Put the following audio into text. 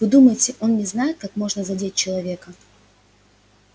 вы думаете он не знает как можно задеть человека